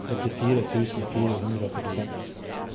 åttifire tusen fire hundre og førtifem